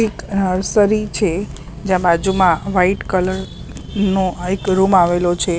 એક નર્સરી છે જ્યાં બાજુમાં વાઈટ કલર નો એક રૂમ આવેલો છે.